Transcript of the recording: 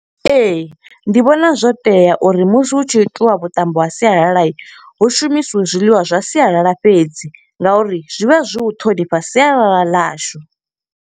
Ee, ndi vhona zwo tea uri musi hu tshi itiwa vhuṱambo ha sialala, hu shumisiwe zwiḽiwa zwa sialala fhedzi. Nga uri zwi vha zwi u ṱhonifha sialala ḽashu.